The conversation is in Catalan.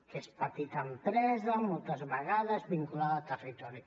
que és petita empresa moltes vegades vinculada al territori